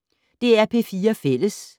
DR P4 Fælles